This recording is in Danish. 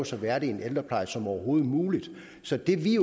så værdig en ældrepleje som overhovedet muligt så det vi